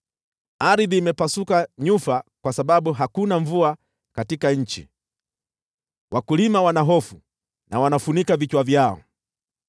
Ardhi imepasuka nyufa kwa sababu hakuna mvua katika nchi; wakulima wana hofu na wanafunika vichwa vyao.